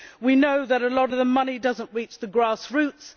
we know that a lot of the money does not reach the grass roots